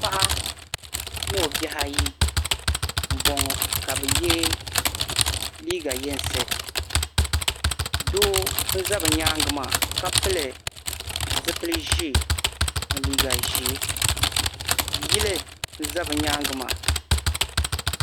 paɣa ni o bihi ayi m bɔŋɔ ka bɛ ye liiga yinsi doo n za bɛ nyaaŋa maa ka pili zupili ʒee ni liiga ʒee yili n za bɛ nyaaŋa maa